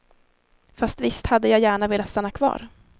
Fast visst hade jag gärna velat stanna kvar.